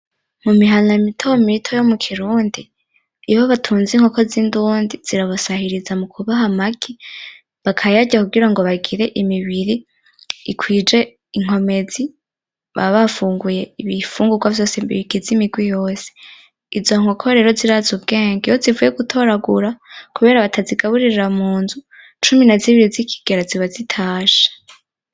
Mumihana mitomito yomukirundi, iyo batunze inkoko zindundi zirabasahiriza mukubaha amagi, bakayarya kugira ngo bagire imibiri ikwije inkomezi bakaba bafunguye ibifungurwa vyose bigize imirwi yose. Inzo nkoko rero zirazi ubwenge iyo zivuye gutoragura, kubera batazigaburira munzu cumi na zine zikigera ziba zitashe.